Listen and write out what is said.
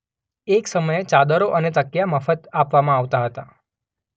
એક સમયે ચાદરો અને તકિયા મફત આપવામાં આવતા હતા.